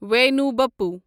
واینُو بپُو